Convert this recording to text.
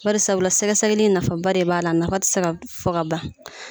Barisabula sɛgɛsɛgɛli in nafaba de b'a la a nafa ti se ka fɔ ban.